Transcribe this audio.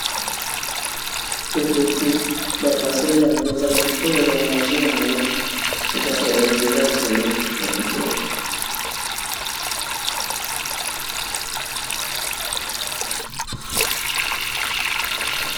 Cocoti, ba pasoli yango, e zalaka kitoko ezalaka na jus n'ango e zalaka elengi, eza fruit ya kitoko .